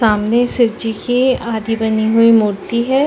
सामने शिवजी की आधी बनी हुई मूर्ति हैं।